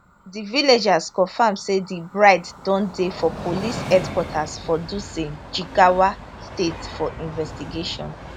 di villagers confirm say di bride don dey for police headquarters for dutse jigawa state for investigation